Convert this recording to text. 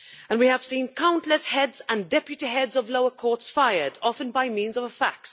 We have seen countless heads and deputy heads of lower courts fired, often by means of a fax.